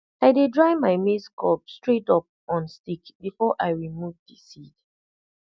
i dey dry my maize cob straight up on stick before i remove the seed